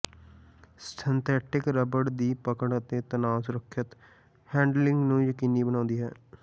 synthetic rubber ਦੀ ਪਕੜ ਅਤੇ ਤਣਾਅ ਸੁਰੱਖਿਅਤ ਹੈਂਡਲਿੰਗ ਨੂੰ ਯਕੀਨੀ ਬਣਾਉਂਦਾ ਹੈ